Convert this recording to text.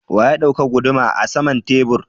Wa ya dauka guduma are saman tebur?